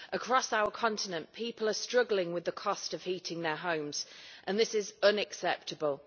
Across our continent people are struggling with the cost of heating their homes and this is unacceptable.